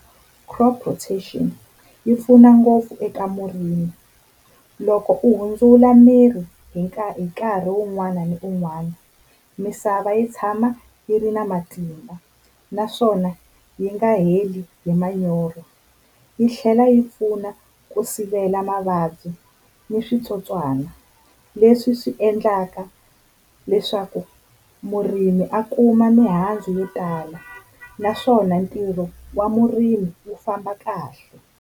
Crop rotation yi pfuna ngopfu eka murimi, loko u hundzula mirhi hi nkarhi ni nkarhi un'wana na un'wana misava yi tshama yi ri na matimba naswona yi nga heli hi manyoro. Yi tlhela yi pfuna ku sivela mavabyi ni switsotswana leswi swi endlaka leswaku murimi a kuma mihandzu yo tala, naswona ntirho wa murimi wu famba kahle.